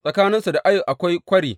Tsakaninsu da Ai akwai kwari.